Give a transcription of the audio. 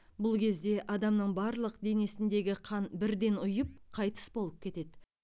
бұл кезде адамның барлық денесіндегі қан бірден ұйып қайтыс болып кетеді